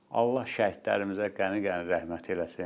Allah şəhidlərimizə qəni-qəni rəhmət eləsin.